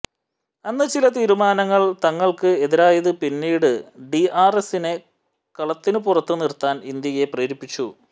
അന്ന് ചില തീരുമാനങ്ങൾ തങ്ങൾക്ക് എതിരായത് പിന്നീട് ഡിആർഎസ്സിനെ കളത്തിനു പുറത്തു നിർത്താൻ ഇന്ത്യയെ പ്രേരിപ്പിച്ചു